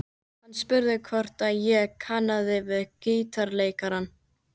Hann spurði hvort ég kannaðist við gítarleikarann.